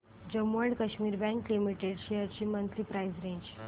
Jammu and Kashmir bank limited shares ची monthly price range